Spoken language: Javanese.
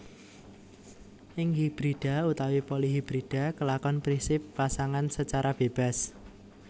Ing hibrida utawi polihibrida kelakon prinsip Pasangan secara bebas